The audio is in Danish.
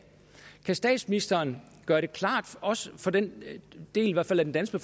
kan statsministeren gøre det klart også for den del af den danske